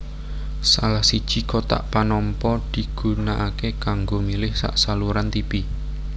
Salah siji kotak panampa digunakaké kanggo milih sak saluran tipi